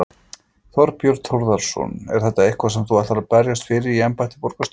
Þorbjörn Þórðarson: Er þetta eitthvað sem þú ætlar að berjast fyrir í embætti borgarstjóra?